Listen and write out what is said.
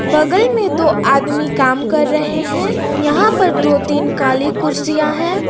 बगल में दो आदमी काम कर रहे हैं यहां पर दो तीन काली कुर्सियां हैं।